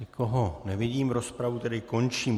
Nikoho nevidím, rozpravu tedy končím.